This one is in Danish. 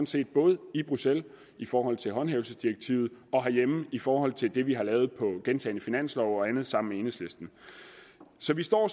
set både i bruxelles i forhold til håndhævelsesdirektivet og herhjemme i forhold til det vi har lavet i gentagne finanslove og andet sammen med enhedslisten så vi står